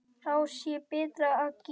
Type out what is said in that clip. Þá sé betra að gefa.